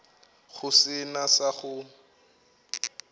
go se na sa go